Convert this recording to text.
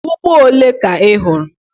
Ugbo ole ka ị hụrụ?